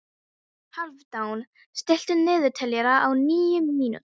Hálfdan, stilltu niðurteljara á níu mínútur.